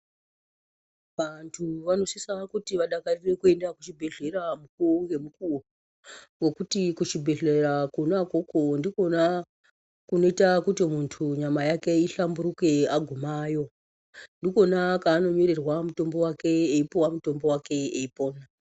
Vantu vanosisa kuti vadakarire kuenda kuchibhehleya mukuwo ngemukowo ngekuti kuchibhehleya kona ikoko ndiko kana kunoita kuti muntu nyama yake ihlamburuke kana agumayo ndikona kwanonyorerwa mutombo wake eipuwa mutombo wake eipona.